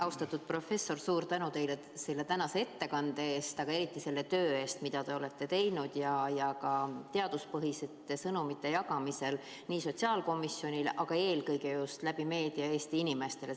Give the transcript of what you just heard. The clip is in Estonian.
Austatud professor, suur tänu teile selle tänase ettekande eest, aga eriti selle töö eest, mida te olete teinud teaduspõhiste sõnumite jagamisel nii sotsiaalkomisjonile kui ka eelkõige just meedia kaudu Eesti inimestele.